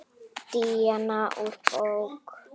Díana úr bók.